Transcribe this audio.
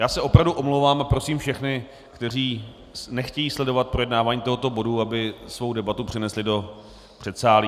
Já se opravdu omlouvám a prosím všechny, kteří nechtějí sledovat projednávání tohoto bodu, aby svou debatu přenesli do předsálí.